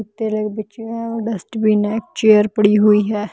बिछी हुई है डस्टबिन हैं एक चेयर पड़ी हुई हैं।